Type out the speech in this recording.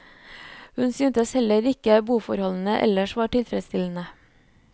Hun synes heller ikke boforholdene ellers var tilfredsstillende.